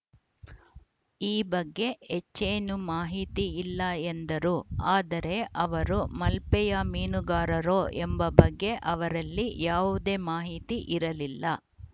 ಈ ಬಗ್ಗೆ ಹೆಚ್ಚೇನು ಮಾಹಿತಿ ಇಲ್ಲ ಎಂದರು ಆದರೆ ಅವರು ಮಲ್ಪೆಯ ಮೀನುಗಾರರೋ ಎಂಬ ಬಗ್ಗೆ ಅವರಲ್ಲಿ ಯಾವುದೇ ಮಾಹಿತಿ ಇರಲಿಲ್ಲ